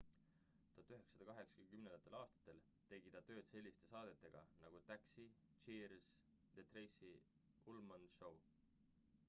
1980 aastatel tegi ta tööd selliste saadetega nagu taxi cheers ja the tracy ullman show